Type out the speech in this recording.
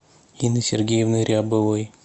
инны сергеевны рябовой